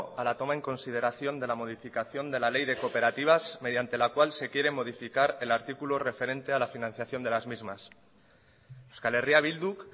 a la toma en consideración de la modificación de la ley de cooperativas mediante la cual se quiere modificar el artículo referente a la financiación de las mismas euskal herria bilduk